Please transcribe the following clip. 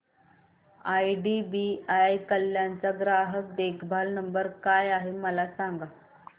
IDBI Kalyan चा ग्राहक देखभाल नंबर काय आहे मला सांगा